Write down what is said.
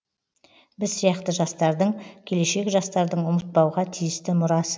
біз сияқты жастардың келешек жастардың ұмытпауға тиісті мұрасы